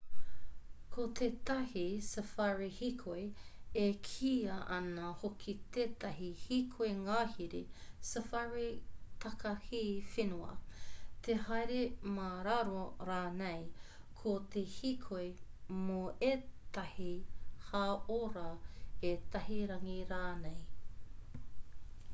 ko tētahi safari hīkoi e kīia ana hoki tētahi hīkoi ngahere safari takahi whenua te haere mā raro rānei ko te hīkoi mō ētahi hāora ētahi rangi rānei